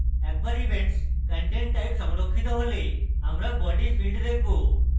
একবার events content type সংরক্ষিত হলে আমরা body field দেখব